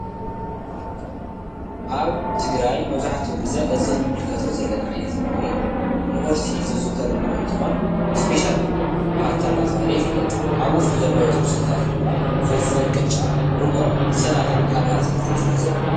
ኣብ ትግራይ መብዛሕትኡ ግዜ እዚ እንምልከቶ ዘለና ዓይነት ምግቢ ንቁርሲ ዝዝዉተር ምግቢ እንትኾን ስፔሻል ፋታ እናብሃለ ይፍለጥ። ኣብ ውሽጡ ዘለዉ ትሕዝቶታት ድማ ፍርፍር ቅጫ ርጉኦን ሰላጣን ካልኦት ኣትክልትን ዝሓዘ እዩ።